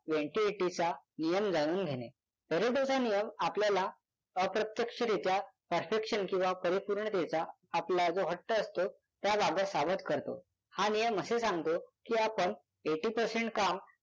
twenty eighty चा नियम जाणून घेणे. पॅरेटोचा आपल्याला अप्रत्यक्षरित्या perfection किंवा परिपूर्णतेचा आपला जो हट्ट असतो त्याबाबत सावध करतो. हा नियम असे सांगतो की आपण eighty percent काम